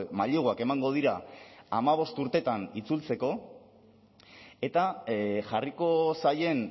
maileguak emango dira hamabost urtetan itzultzeko eta jarriko zaien